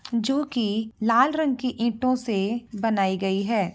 जो कि लाल रंग की ईटों से बनाई गई है।